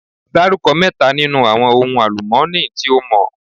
Dárúkọ mẹ́ta nínú àwọn ohun àlùmọ́ọ́nì tí o mọ̀?